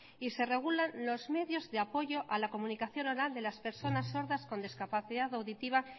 y se regulan los medios de apoyo a la comunicación oral de las personas sordas con discapacidad auditiva